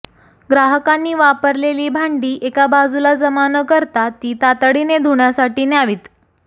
ग्राहकांनी वापरलेली भांडी एका बाजुला जमा न करता ती तातडीने धुण्यासाठी न्यावीत